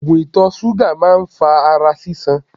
Oògùn ìtọ̀ ṣúgà máa ń fa ara sísan.